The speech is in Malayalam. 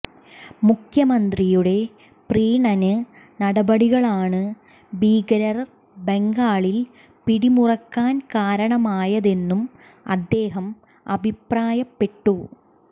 മുഖ്യമന്ത്രിയുടെ പ്രീണന നടപടികളാണ് ഭീകരർ ബംഗാളിൽ പിടിമുറുക്കാൻ കാരണമായതെന്നും അദ്ദേഹം അഭിപ്രായപ്പെട്ടു